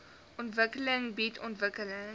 ontwikkeling bied ontwikkeling